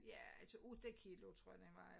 Ja altså 8 kilo tror jeg den vejer